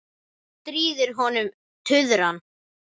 Hún stríðir honum tuðran.